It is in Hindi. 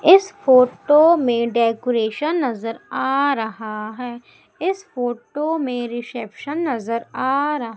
इस फोटो में डेकोरेशन नजर आ रहा है इस फोटो में रिसेप्शन नजर आ रा--